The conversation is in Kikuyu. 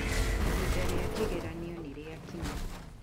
Ihinda rĩa kĩgeranio ni rĩakinya